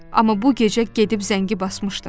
Amma bu gecə gedib zəngi basmışdım.